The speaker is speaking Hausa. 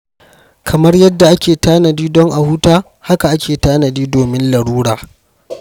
Kamar yadda ake tanadi don a huta, haka ake tanadi domin larura.